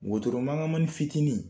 Wotoro maŋamani fitinin